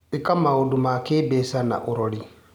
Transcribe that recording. ĩka maũndũ ma kĩmbeca na ũrori.